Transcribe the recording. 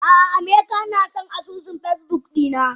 Ah ah amaka nason asusun Facebook dina.